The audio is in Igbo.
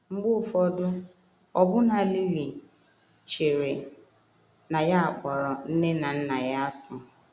Mgbe ụfọdụ, ọbụna Lily chere um na ya kpọrọ um nne na nna ya asị.